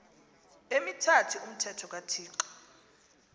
emithathu umthetho kathixo